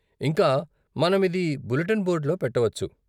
ఇంకా, మనం ఇది బులెటిన్ బోర్డులో పెట్టవచ్చు.